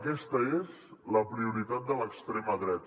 aquesta és la prioritat de l’extrema dreta